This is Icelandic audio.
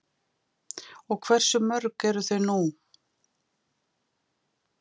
Og hversu mörg eru þau nú?